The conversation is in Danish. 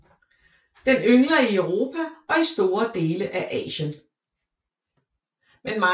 Den yngler i Europa og i store dele af Asien